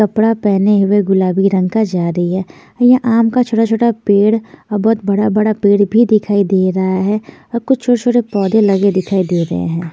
कपड़ा पहने हुए गुलाबी रंग का जा रही है यहाँ आम का छोटा-छोटा पेड़ और बहुत बड़ा-बड़ा पेड़ भी दिखाई दे रहा है और कुछ छोटे-छोटे पौधे लगे दिखाई दे रहे हैं ।